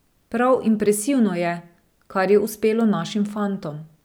Prav impresivno je, kar je uspelo našim fantom.